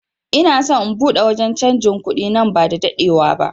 Ina son in buɗe wanje canjin kuɗi nan ba da daɗewa ba